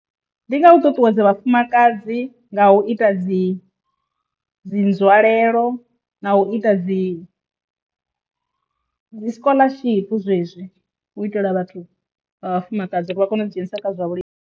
Ndi nga u ṱuṱuwedza vhafumakadzi nga u ita dzi dzi nzwalelo na u ita dzi dzi scholaship zwezwii u itela vhathu vhafumakadzi uri vha kone u ḓi dzhenisa kha zwa vhulimi.